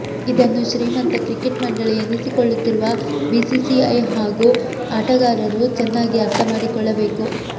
ಇದನ್ನು ಶ್ರೀಮಂತ ಕ್ರಿಕೆಟ್ ಮಂಡಳಿ ಎನಿಸಿಕೊಳ್ಳುತ್ತಿರುವ ಬಿಸಿಸಿಐ ಹಾಗೂ ಆಟಗಾರರು ಚೆನ್ನಾಗಿ ಅರ್ಥ ಮಾಡಿಕೊಳ್ಳಬೇಕು